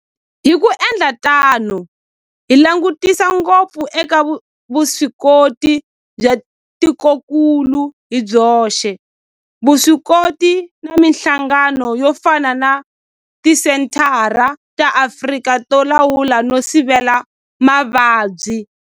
Hi ku endla tano hi langutisa ngopfu eka vuswikoti bya tikokulu hi byoxe, vuswikoti na mihlangano yo fana na Tisenthara ta Afrika to Lawula no Sivela Mavabyi.